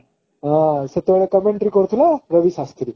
ହଁ ସେତେବେଳେ commentary କରୁଥିଲା ରବି ଶାସ୍ତ୍ରୀ